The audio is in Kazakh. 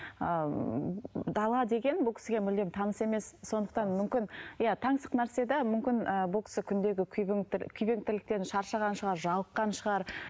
ыыы дала деген бұл кісіге мүлдем таныс емес сондықтан мүмкін иә тансық нәрсе де мүмкін ыыы бұл кісі күндегі күйген тірліктен шаршаған шығар жалыққан шығар